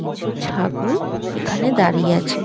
কিছু ছাগল এখানে দাঁড়িয়ে আছে।